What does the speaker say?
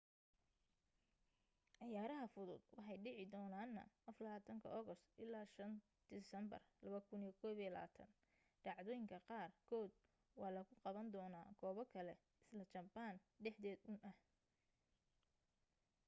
ciyaaraha fudud waxay dhici doonana 24 august ilaa 5 siteembar 2021 dhacdooyinka qaar kood waxaa lagu qaban doona goobo kale isla japan dhexdeed un ah